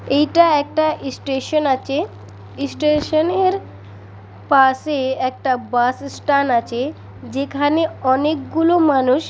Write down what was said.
এইটা একটা স্টেশন আছে এই স্টেশন এর পাশে একটা বাস স্ট্যান্ড আছে। যেখানে অনেকগুলো মানুষ--